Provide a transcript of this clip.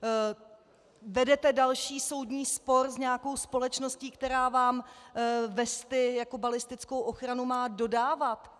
Vedete další soudní spor s nějakou společností, která vám vesty jako balistickou ochranu má dodávat.